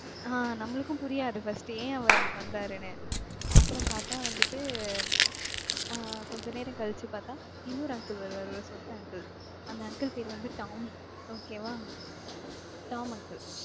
ஆஹ் நம்மளுக்கும் புரியாது first ஏன் அவர் அப்படி பண்றாருன்னு. அப்புறம் பார்த்தா வந்துட்டு ஆஹ் கொஞ்ச நேரம் கழிச்சு பாத்தா, இன்னொரு uncle வருவாரு ஒரு சொட்டை uncle அந்த uncle பேரு வந்து tom okay வா tom uncle